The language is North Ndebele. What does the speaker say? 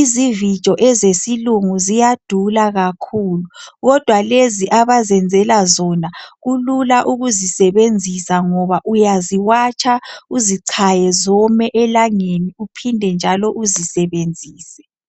izivijo zesilungu ziyadula kakhulu kodwa lezi abazenzela zona kulula ukuzisebenzisa ngoba uyaziwatsha uzichaye zome elangeni uphinde njalo uzisebenzise